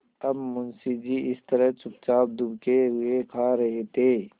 अब मुंशी जी इस तरह चुपचाप दुबके हुए खा रहे थे